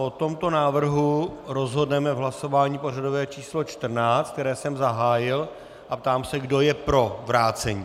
O tomto návrhu rozhodneme v hlasování pořadové číslo 14, které jsem zahájil, a ptám se, kdo je pro vrácení.